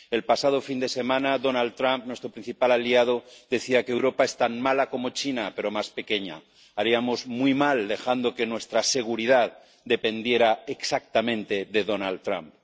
El pasado fin de semana, Donald Trump, nuestro principal aliado, decía que Europa es tan mala como China, pero más pequeña haríamos muy mal dejando que nuestra seguridad dependiera exactamente de Donald Trump.